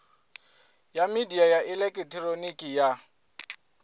ya midia ya elekihironiki ya